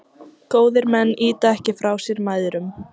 Góðir menn ýta ekki frá sér mæðrum.